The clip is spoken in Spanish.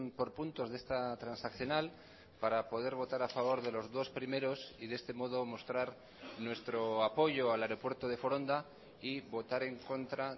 por puntos de esta transaccional para poder votar a favor de los dos primeros y de este modo mostrar nuestro apoyo al aeropuerto de foronda y votar en contra